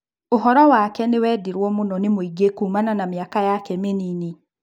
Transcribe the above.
ũhoro wake nĩwendirwo mũno nĩmũingĩ kuumana na mĩaka yake mĩnini.